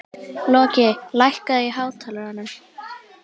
Loki, lækkaðu í hátalaranum.